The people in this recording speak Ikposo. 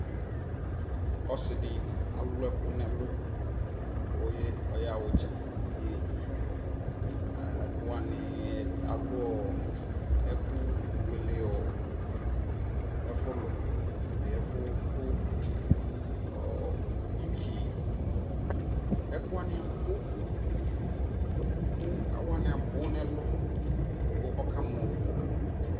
ɔsii di alʋ ɛkʋ nʋ ɛlʋ kʋ ɔya ʋdza kʋ ɔbɛyi, ɛkʋ wani alʋɔ ɛkʋ wɛlɛ ɔ ɛfʋlʋ, ɛƒʋ kʋ itii ɛkʋ wani abʋ kʋ ɛkʋ wani abʋ nʋɛlʋ, kʋɔkamɔ